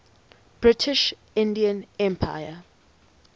british indian empire